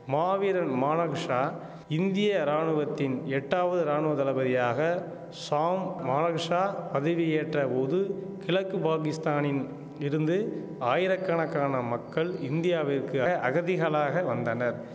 மாவீரன் மானகிஷா இந்திய ராணுவத்தின் எட்டாவது ராணுவ தளபதியாக ஷாம் மானகிஷா பதவியேற்ற போது கிழக்கு பாகிஸ்தானின் இருந்து ஆயிரக்கணக்கான மக்கள் இந்தியாவிற்கு அகதிகளாக வந்தனர்